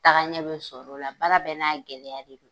Tagaɲɛ be sɔr'o la, baara bɛɛ n'a gɛlɛya de don.